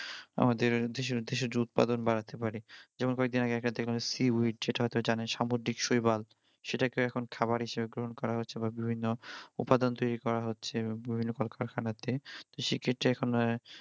আমাদের দেশের দেশের যে উৎপাদন বাড়াতে পারি যেমন কয়েকদিন আগে একটা দেখবেন seaweed যেটা হয়তো জানেন সামুদ্রিক শৈবাল সেটাকেও এখন খাবার হিসেবে গ্রহণ করা হচ্ছে বা বিভিন্ন উপাদান তৈরি করা হচ্ছে বিভিন্ন কলকারখানাতে